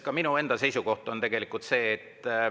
Ka minu enda seisukoht on see.